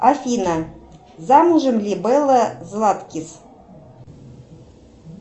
афина замужем ли белла златкис